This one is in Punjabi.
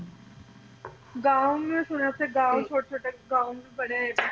ਗਾਓਂ ਵੀ ਮੈ ਸੁਣਾਇਆ ਓਥੇ ਗਾਓਂ ਵੀ ਛੋਟੇ ਛੋਟੇ ਗਾਓ ਬੜੇ